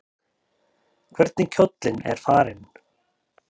Hvernig kjóllinn er farinn!